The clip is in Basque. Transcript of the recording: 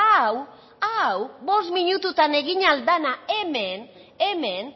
hau hau bost minututan egin ahal dana hemen hemen